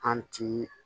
An ti